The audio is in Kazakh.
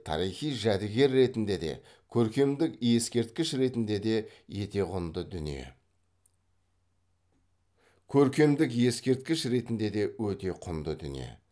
тарихи жәдігер ретінде де көркемдік ескерткіш ретінде де өте құнды дүние